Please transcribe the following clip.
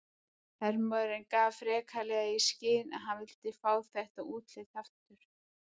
Hermaðurinn gaf freklega í skyn að hann vildi fá þetta útlit aftur.